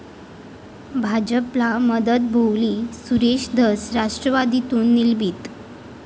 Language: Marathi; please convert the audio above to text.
भाजपला मदत भोवली, सुरेश धस राष्ट्रवादीतून निलंबित